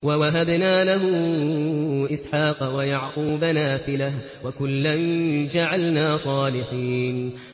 وَوَهَبْنَا لَهُ إِسْحَاقَ وَيَعْقُوبَ نَافِلَةً ۖ وَكُلًّا جَعَلْنَا صَالِحِينَ